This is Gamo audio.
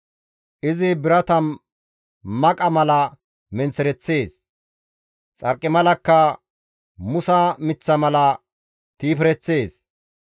Izi birata maqa mala menththereththees; Xarqimalakka musa miththa mala tiifereththees.